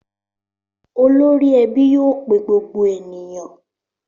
Olórí ẹbí yóò pe gbogbo ènìyàn.